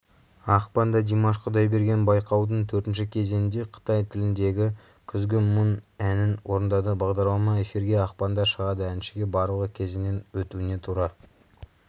ақпанда димаш құдайберген байқаудың төртінші кезеңінде қытай тіліндегі күзгі мұң әнін орындады бағдарлама эфирге ақпанда шығады әншіге барлығы кезеңнен өтуіне тура